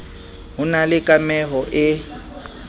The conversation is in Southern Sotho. ho na le kameho e